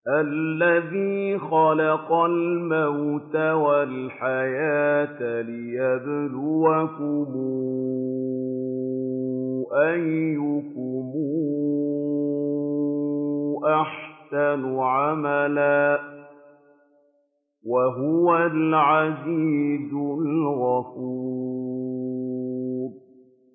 الَّذِي خَلَقَ الْمَوْتَ وَالْحَيَاةَ لِيَبْلُوَكُمْ أَيُّكُمْ أَحْسَنُ عَمَلًا ۚ وَهُوَ الْعَزِيزُ الْغَفُورُ